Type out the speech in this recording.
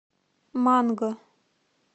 манго